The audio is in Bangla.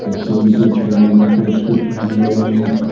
রেস্টুরেন্টের দেওয়ালে কয়েকটি ফ্যান লাগানো আছে।